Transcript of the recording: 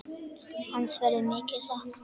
Hans verður mikið saknað.